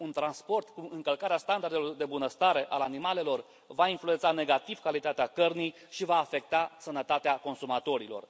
Un transport cu încălcarea standardelor de bunăstare al animalelor va influența negativ calitatea cărnii și va afecta sănătatea consumatorilor.